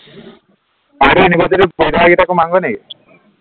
university ৰ professor কেইটাকো মাৰোগৈ নিকি